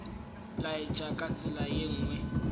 laetša ka tsela ye nngwe